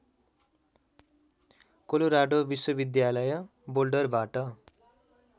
Colorado विश्वविद्यालय बोल्डरबाट